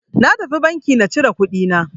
Na tafi banki na cire kuɗi na.